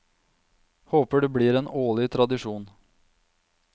Håper det blir en årlig tradisjon.